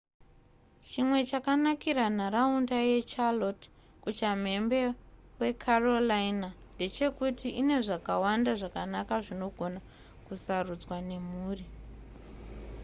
chimwe chakanakira nharaunda yecharlotte kuchamhembe wecarolina ndechekuti ine zvakawanda zvakanaka zvinogona kusarudzwa nemhuri